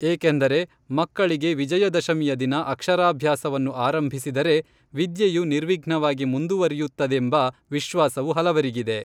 ಏಕೆಂದರೆ ಮಕ್ಕಳಿಗೆ ವಿಜಯದಶಮಿಯ ದಿನ ಅಕ್ಷರಾಭ್ಯಾಸವನ್ನು ಆರಂಭಿಸಿದರೆ ವಿದ್ಯೆಯು ನಿರ್ವಿಘ್ನವಾಗಿ ಮುಂದುವರೆಯುತ್ತದೆಂಬ, ವಿಶ್ವಾಸವು ಹಲವರಿಗಿದೆ